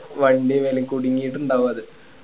വണ്ടി മേലെ കുടിങ്ങിട്ട് ഇണ്ടാവും അത്